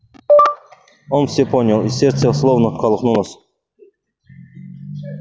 он всё понял и сердце словно колыхнулось